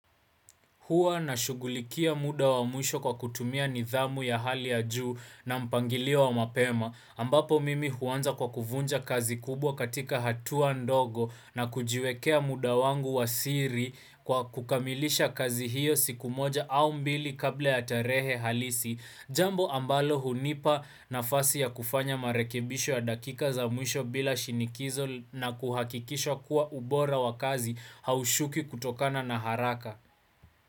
Huwa nashughulikia muda wa mwisho kwa kutumia nidhamu ya hali ya juu na mpangilio wa mapema. Ambapo mimi huanza kwa kuvunja kazi kubwa katika hatua ndogo na kujiwekea muda wangu wa siri kwa kukamilisha kazi hiyo siku moja au mbili kabla ya tarehe halisi. Jambo ambalo hunipa nafasi ya kufanya marekebisho ya dakika za mwisho bila shinikizo na kuhakikisha kuwa ubora wa kazi haushuki kutokana na haraka.